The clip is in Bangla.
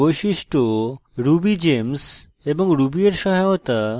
বৈশিষ্ট্য rubygems এবং ruby এর সহায়তা